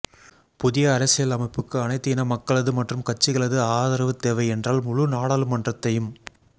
புதிய அரசியலமைப்புக்கு அனைத்து இன மக்களது மற்றும் கட்சிகளது ஆதரவு தேவை என்றால் முழு நாடாளுமன்றத்தையு